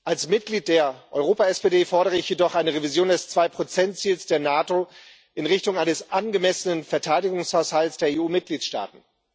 Als Mitglied der Europa SPD fordere ich jedoch eine Revision des 2 Ziels der NATO in Richtung eines angemessenen Verteidigungshaushalts der EU Mitgliedstaaten.